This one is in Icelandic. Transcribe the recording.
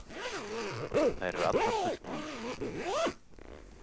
Þær eru allar fullbúnar